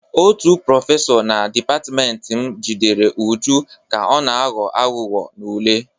Otu prọfesọ na dịpatịmentị m jidere Uju ka ọ na-aghọ aghụghọ n'ule.